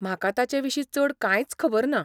म्हाका ताचें विशीं चड कांयच खबर ना.